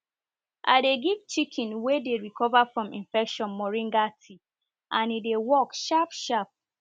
i dey give chicken wey dey recover from infection moringa tea and e dey work sharp sharp